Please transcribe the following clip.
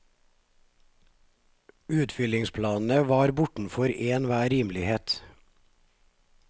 Utfyllingsplanene var jo bortenfor enhver rimelighet.